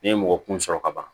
N'i ye mɔgɔ kun sɔrɔ ka ban